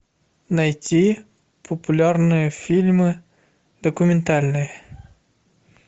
найти популярные фильмы документальные